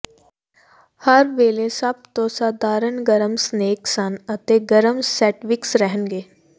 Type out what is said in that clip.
ਹਰ ਵੇਲੇ ਸਭ ਤੋਂ ਸਧਾਰਨ ਗਰਮ ਸਨੈਕ ਸਨ ਅਤੇ ਗਰਮ ਸੈਂਟਵਿਕਸ ਰਹਿਣਗੇ